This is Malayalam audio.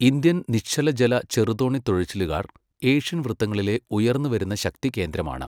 ഇന്ത്യൻ നിശ്ചലജല ചെറുതോണി തുഴച്ചിലുകാർ ഏഷ്യൻ വൃത്തങ്ങളിലെ ഉയർന്നുവരുന്ന ശക്തികേന്ദ്രമാണ്.